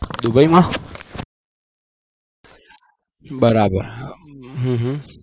Dubai મા બરાબર હમમ